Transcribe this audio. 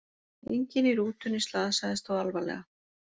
Enginn í rútunni slasaðist þó alvarlega